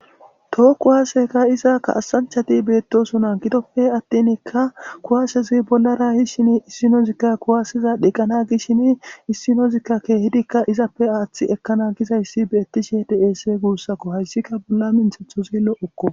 Tookku haaseka izaakka asanchati beettosona gidoppe attinkka kuwaasezuy bollara hishin issinozikka kuwaasiza dhiqqana gishshin issinozikka keehidikka izappe aaththi ekkana gizayssi beettishe deese guussakko hayssikka bolla minthetho zillo okko.